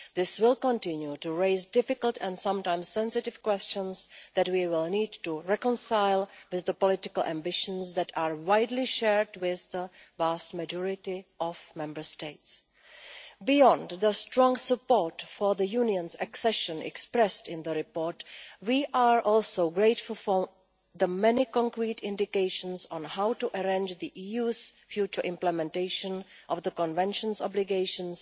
This will continue to raise difficult and sometimes sensitive questions that we will need to reconcile with the political ambitions that are widely shared with the vast majority of Member States. Beyond the strong support for the Union's accession expressed in the report, we are also grateful for the many concrete indications on how to arrange the EU's future implementation of the Convention's obligations,